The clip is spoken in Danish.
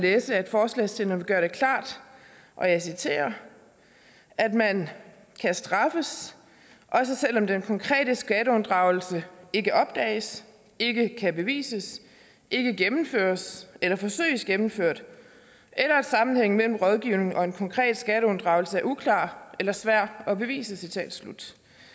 læse at forslagsstillerne gør det klart og jeg citerer at man kan straffes også selv om den konkrete skatteunddragelse ikke opdages ikke kan bevises ikke gennemføres eller forsøges gennemført eller sammenhængen mellem rådgivning og en konkret skatteunddragelse er uklar eller svær at bevise citat slut